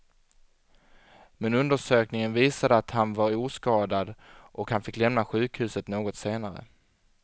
Men undersökningen visade att han var oskadad och han fick lämna sjukhuset något senare.